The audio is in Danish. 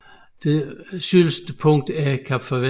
Det sydligste punkt er Kap Farvel